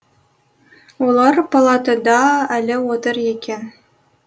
олар палатада әлі отыр екен